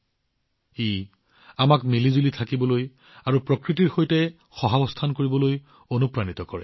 তেওঁলোকে আমাক ইজনেসিজনৰ সৈতে আৰু প্ৰকৃতিৰ সৈতে মিলামিছাৰে জীয়াই থাকিবলৈ অনুপ্ৰাণিত কৰে